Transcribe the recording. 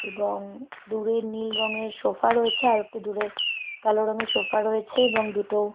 এবং দূরে নীল রঙের সোফা রয়েছে আরো একটু দূরে কালো রঙের সোফা রয়েছে এবং দুটো--